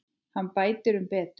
Hann bætir um betur.